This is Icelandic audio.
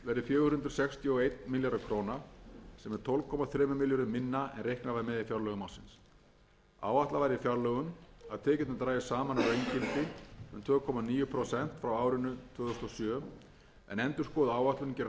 fjögur hundruð sextíu og einn milljarður króna sem er tólf komma þremur milljörðum minna en reiknað var með í fjárlögum ársins áætlað var í fjárlögum að tekjurnar drægjust saman að raungildi um tvö komma níu prósent frá árinu tvö þúsund og sjö en endurskoðuð áætlun gerir ráð fyrir að samdrátturinn verði sextán komma